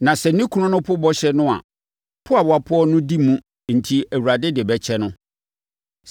Na sɛ ne kunu no po bɔhyɛ bɔne no a, po a ɔpoeɛ no di mu enti, Awurade de bɛkyɛ no.